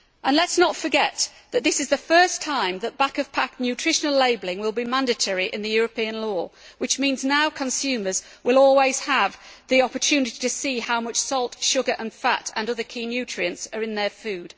Let us not forget that this is the first time that back of pack nutritional labelling will be mandatory under European law, which means that now consumers will always have the opportunity to see how much salt, sugar and fat and other key nutrients are in their food.